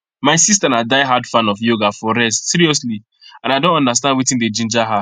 my sister na diehard fan of yoga for rest seriously i don understand wetin dey ginger her